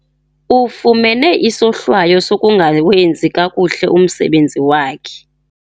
Ufumene isohlwayo sokungawenzi kakuhle umsebenzi wakhe.